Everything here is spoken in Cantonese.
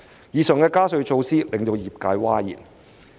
以上加稅措施令業界譁然。